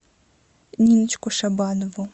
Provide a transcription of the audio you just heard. ниночку шабанову